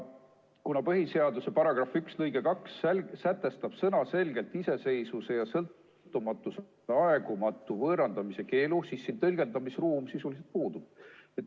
Kuna põhiseaduse § 1 lõige 2 sätestab sõnaselgelt iseseisvuse ja sõltumatuse aegumatu võõrandamise keelu, siis siin tõlgendamisruum sisuliselt puudub.